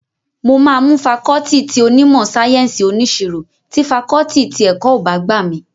Mo máa mú fakọọti ti onímọ̀ sáyẹ́ǹsì oníṣirò tí fakọọti ti ẹ̀kọ́ ọ̀ bá gbà mí